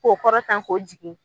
K'o kɔrɔtan ko jigi.